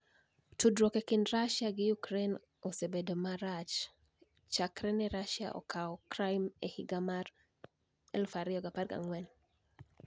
Tudruok e kinid Russia gi Ukraini e osemedo bedo marach chakre ni e Russia okawo Crimea e higa mar 2014.